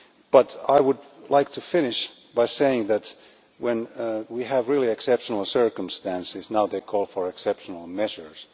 But I would like to finish by saying that, when we have really exceptional circumstances, they call for exceptional measures.